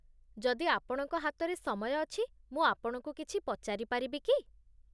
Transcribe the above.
ଯଦି ଆପଣଙ୍କ ହାତରେ ସମୟ ଅଛି, ମୁଁ ଆପଣଙ୍କୁ କିଛି ପଚାରିପାରିବି କି?